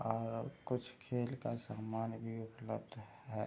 और कुछ खेल का सामान भी उपलब्ध है।